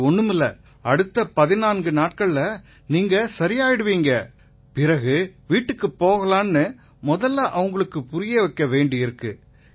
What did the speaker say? இது ஒண்ணுமில்லை அடுத்த 14 நாட்கள்ல நீங்க சரியாயிருவீங்க பிறகு வீட்டுக்குப் போகலாம்னு முதல்ல அவங்களுக்கு புரிய வைக்க வேண்டியிருக்கு